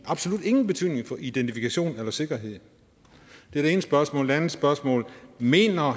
absolut ingen betydning for identifikation eller sikkerhed det er det ene spørgsmål det andet spørgsmål er mener